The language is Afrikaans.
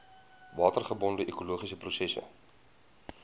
watergebonde ekologiese prosesse